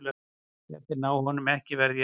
Ef þeir ná honum ekki verð ég að segja til hans.